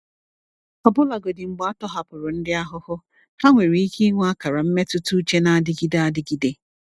Ọbụlagodi mgbe a tọhapụrụ ndị ahụhụ, ha nwere ike ịnwe akara mmetụta uche na-adịgide adịgide.